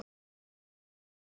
Og þig.